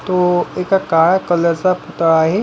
तो एका काळ्या कलर चा पुतळा आहे.